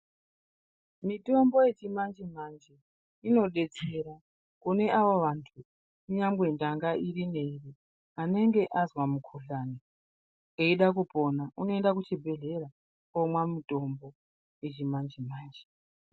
Mitombo yechimanje-manje inodetsera kune ava vantu kunyangwe ndanga iri neiri. Anenge azwa mukuhlani eida kupona unoenda kuchibhedhlera omwa mutombo yechimanje-manje.